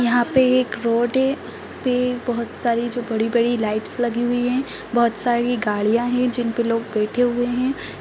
यहाँ पे एक रोड है उसपे बहौत सारी जो बड़ी-बड़ी लाइट्स लगी हुई हैं बहौत सारी गाड़ियां हैं जिनपे लोग बैठे हुए हैं।